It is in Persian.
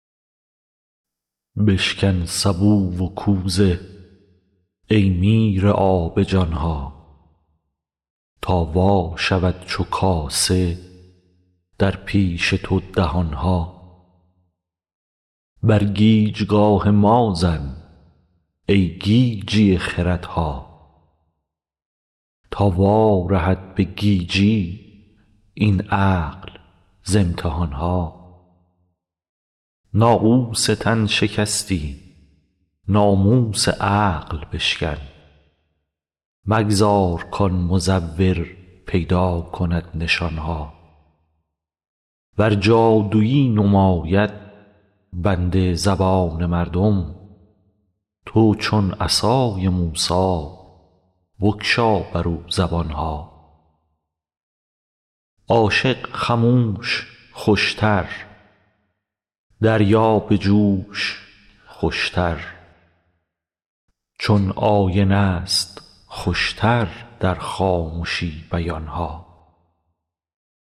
بشکن سبو و کوزه ای میرآب جان ها تا وا شود چو کاسه در پیش تو دهان ها بر گیجگاه ما زن ای گیجی خردها تا وارهد به گیجی این عقل ز امتحان ها ناقوس تن شکستی ناموس عقل بشکن مگذار کآن مزور پیدا کند نشان ها ور جادویی نماید بندد زبان مردم تو چون عصای موسی بگشا برو زبان ها عاشق خموش خوش تر دریا به جوش خوش تر چون آینه ست خوش تر در خامشی بیان ها